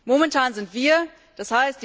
Momentan sind wir d.